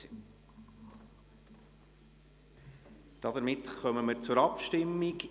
Damit kommen wir zur Abstimmung.